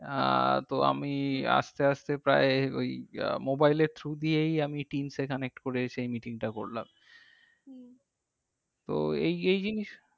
আহ তো আমি আসতে আসতে প্রায় ওই আহ mobile এর through দিয়েই আমি teams এ connect করে সেই meeting টা করলাম। তো এই এই জিনিস